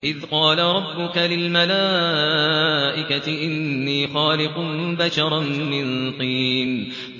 إِذْ قَالَ رَبُّكَ لِلْمَلَائِكَةِ إِنِّي خَالِقٌ بَشَرًا مِّن طِينٍ